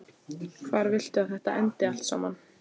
Hvar viltu að þetta endi allt saman?